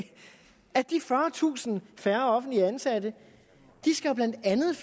at de fyrretusind færre offentligt ansatte blandt andet